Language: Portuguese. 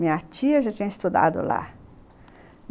Minha tia já tinha estudado lá.